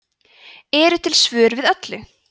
eru til svör við öllu